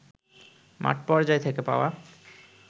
মাঠপর্যায় থেকে পাওয়া